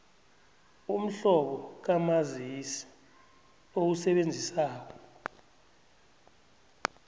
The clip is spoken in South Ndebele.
umhlobo kamazisi owusebenzisako